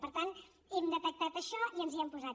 per tant hem detectat això i ens hi hem posat